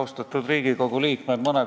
Austatud Riigikogu liikmed!